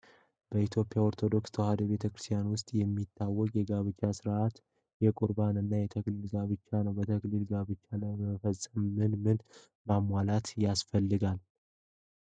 በኢትዮጵያ ኦርቶዶክስ ተዋሕዶ ቤተክርስቲያን ውስጥ የሚታወቁ የጋብቻ ስነስርዓቶች የቁርባን እና የተክሊል ጋብቻ ናቸው። በተክሊል ጋብቻ ለመፈፀም ምን ምን ማሟላት ያስፈልጋል?